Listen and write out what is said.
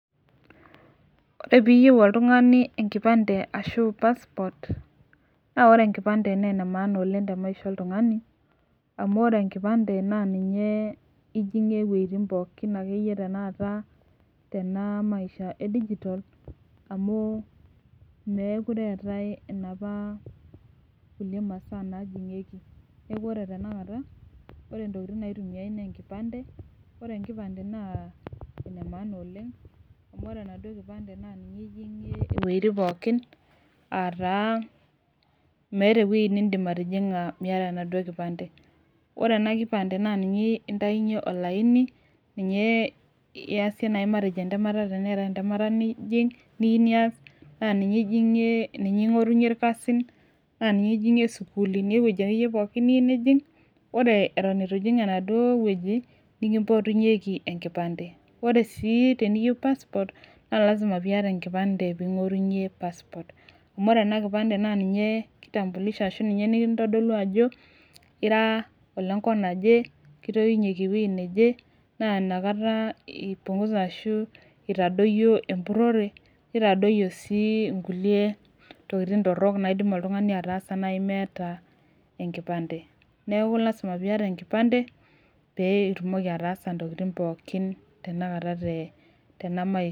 Ore piiyieu oltung'ani enkipande naa ore enkipande naa enemaana tenkishuo oltung'ani amu meekure eetai kulie masaa najing'ieki ore enkipande naa enemaana oleng amu ore enaaduo kipande naa ninye ijing'ie iweitin pookin aataa miata enijing miata enaduo kipande ore ena kipande naa ninye indainyie olaini ninye iyasie entemata tenaa ninye iyata naa ninye ingo'orunyie irkasin naa ninye ijing'ie nikimpotunyieki enkipande naaa lazima piata enkipande ning'orunyie passport naa ninye nikintodolu ajo ira enenkop naje na inakata eitadoyio empurorore neitadoyio sii kulie tokiti torok meeta enkipande neeku lasima piata enkipande piitumoki ataasa intokitin pookin tenelata tena maisha